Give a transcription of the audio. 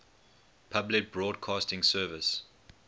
public broadcasting service